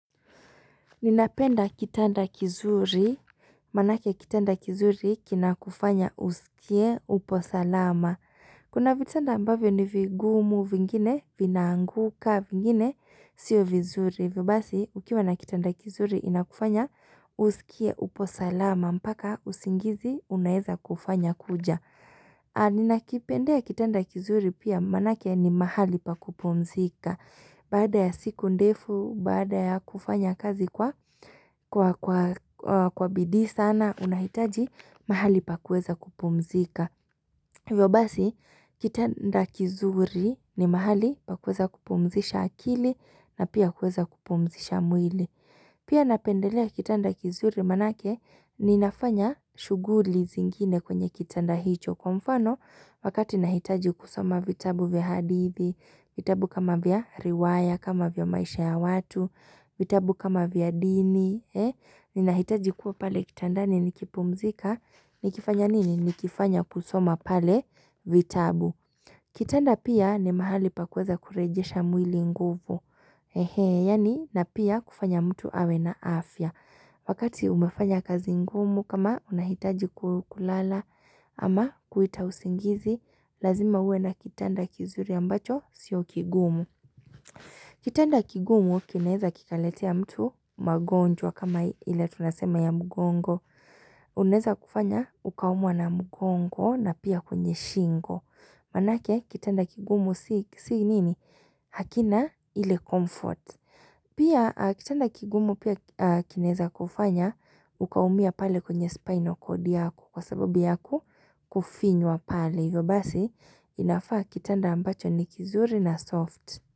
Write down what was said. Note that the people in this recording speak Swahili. Ninapenda kitanda kizuri, maanake kitanda kizuri kina kufanya usikie upo salama. Kuna vitanda ambavyo ni vigumu, vingine vinaanguka vingine, sio vizuri. Hivyo basi, ukiwa na kitanda kizuri inakufanya usikie upo salama, mpaka usingizi unaeza kufanya kuja. Ninakipendea kitanda kizuri pia maanake ni mahali pa kupumzika. Baada ya siku ndefu, baada ya kufanya kazi kwa bidii sana, unahitaji mahali pa kuweza kupumzika. Hivyo basi, kitanda kizuri ni mahali pa kuweza kupumzisha akili na pia kuweza kupumzisha mwili. Pia napendelea kitanda kizuri maanake, ninafanya shughuli zingine kwenye kitanda hicho kwa mfano, wakati nahitaji kusoma vitabu vya hadithi, vitabu kama vya riwaya, kama vya maisha ya watu, vitabu kama vya dini, eh, ninahitaji kuwa pale kitandani nikipumzika, nikifanya nini, nikifanya kusoma pale vitabu. Kitanda pia ni mahali pa kuweza kurejesha mwili nguvu, enhee, yaani na pia kufanya mtu awe na afya. Wakati umefanya kazi ngumu kama unahitaji kulala, ama kuita usingizi, lazima uwe na kitanda kizuri ambacho sio kigumu. Kitanda kigumu kinaeza kikaletea mtu magonjwa kama ile tunasema ya mgongo. Unaweza kufanya ukaumwa na mgongo na pia kwenye shingo. Maanake kitanda kigumu si nini? Hakina ile comfort. Pia kitanda kigumu pia kinaeza kufanya ukaumia pale kwenye spinal cord yako, kwa sababu yaku? Kufinywa pale. Hivyo basi, inafaa kitanda ambacho ni kizuri na soft.